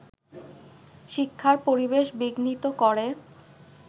শ্ক্ষিার পরিবেশ বিঘ্নিত করে